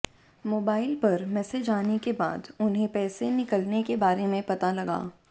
mobile पर message आने के बाद उन्हें पैसे निकलने के बारे में पता लगा